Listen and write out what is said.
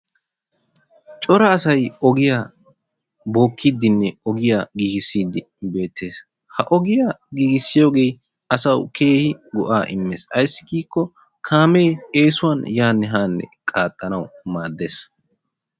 Cora asay ogiyaa bokkidinne ogiyaa giigisidi beettees. Ha ogiyaa giigisiyoo asawu keehi go"aa immees. Ayssi giikko kaamee eesuwaan yaanne haanne qaaxxanawu maaddees.